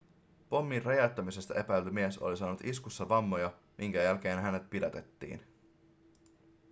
pommin räjäyttämisestä epäilty mies oli saanut iskussa vammoja minkä jälkeen hänet pidätettiin